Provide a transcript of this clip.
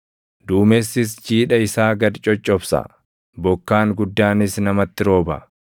Duumessis jiidha isaa gad coccobsa; bokkaan guddaanis namatti rooba.